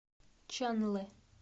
чанлэ